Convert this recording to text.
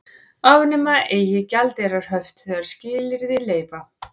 Afnema eigi gjaldeyrishöft þegar skilyrði leyfa